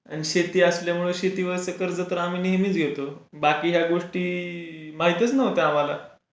आणि शेती असल्यावर शेतीवरचा कर्ज आम्ही नेहमीच घेतो बाकी या गोष्टी महतीच नव्हता आम्हला.